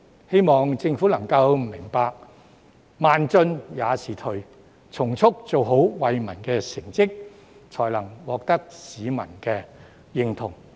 希望政府能明白"慢進也是退"，從速做出惠民的成績，才能獲得市民的認同。